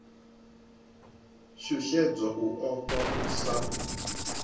shushedzwa u ofha u sa